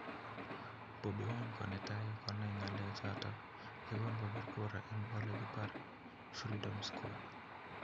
Bobi wine ko netai konai ngalechon yegon kopir kura en elekipore Freedom square